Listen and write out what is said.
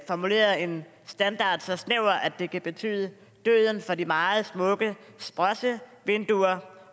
formuleret en standard så snæver at det kan betyde døden for de meget smukke sprossevinduer